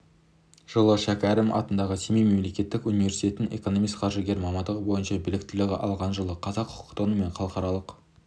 жылы шәкәрім атындағы семей мемлекеттік университетін экономист-қаржыгер мамандығы бойынша біліктілігі алған жылы қазақ құқықтану және халықаралық